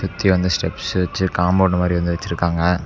சுத்தி வந்து ஸ்டெப்ஸ் வச்சு காம்பவுண்ட் மாதிரி வந்து வெச்சிருக்காங்க.